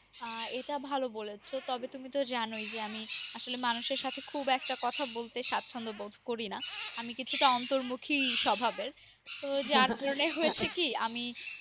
আহ এটা ভালো বলেছ। তবে তুমি তো জানোই আমি আসলে মানুষের সাথে খুব একটা কথা বলতে সাচ্ছন্দ বোধ করি না। আমি কিছুটা অন্তর্মুখী স্বভাবের যার জন্যই হয়েছে কি আমি